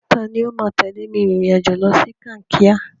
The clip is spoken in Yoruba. Tani ó máa tẹ̀lé mi rìnrìn-àjò lọ sí Kankia?